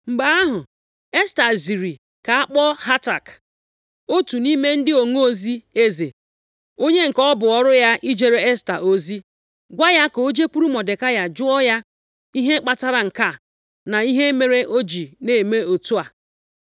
Mgbe ahụ, Esta ziri ka a kpọọ Hatak, otu nʼime ndị onozi eze, onye nke ọ bụ ọrụ ya ijere Esta ozi, gwa ya ka o jekwuru Mọdekai jụọ ya ihe kpatara nke a, na ihe mere o ji na-eme otu a.